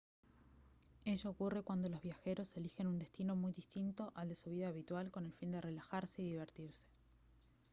ello ocurre cuando los viajeros elijen un destino muy distinto al de su vida habitual con el fin de relajarse y divertirse